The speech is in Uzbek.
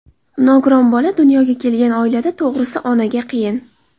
Nogiron bola dunyoga kelgan oilada, to‘g‘risi, onaga qiyin.